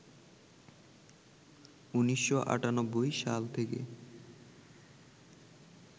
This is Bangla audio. ১৯৯৮সাল থেকে